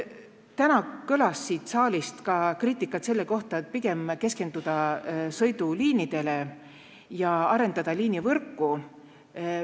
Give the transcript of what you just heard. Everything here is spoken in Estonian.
Täna kõlas siit saalist kriitikat, et pigem tuleks keskenduda sõiduliinidele ja arendada liinivõrku.